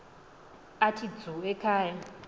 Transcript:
athi dzu ekhaya